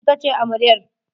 Ita ce amaryar.